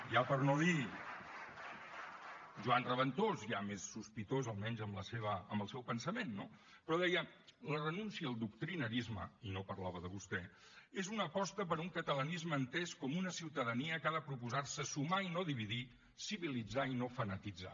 ja per no dir joan reventós ja més sospitós almenys amb el seu pensament no però deia la renúncia al doctrinarisme i no parlava de vostè és una aposta per un catalanisme entès com una ciutadania que ha de proposar se sumar i no dividir civilitzar i no fanatitzar